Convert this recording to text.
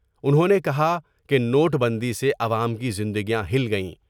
انہوں نے کہا کہ نوٹ بندی سے عوام کی زندگیاں ہل گئیں ۔